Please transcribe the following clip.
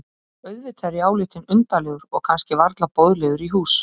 Auðvitað er ég álitinn undarlegur og kannski varla boðlegur í hús.